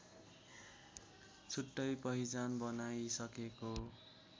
छुट्टै पहिचान बनाइसकेको